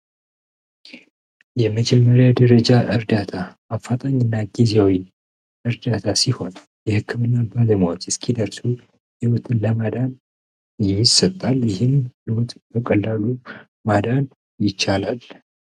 የመጀመሪያ ደረጃ እርዳታ አፋጣኝ እና ጊዜዊን እርዳታ ሲሆን የሕክም እና ባለሙያዎች እስኪደርሱ ህይውትን ለማዳን ይህ የሚሰጣል ይህን ልውጥ በቀላሉ ማዳን ይቻላል።